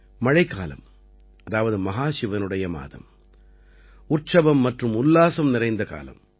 மழைக்காலம் அதாவது மஹாசிவனுடைய மாதம் உற்சவம் மற்றும் உல்லாசம் நிறைந்த காலம்